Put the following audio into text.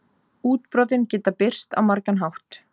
Útbrotin geta birst á margan hátt.